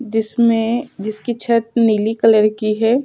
जिसमें जिसकी छत नीली कलर की है।